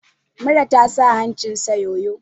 Mura ta sa hancinsa yoyo!